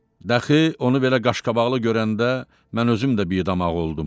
Daxı onu belə qaşqabaqlı görəndə mən özüm də bidamağ oldum.